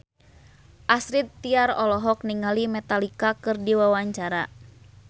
Astrid Tiar olohok ningali Metallica keur diwawancara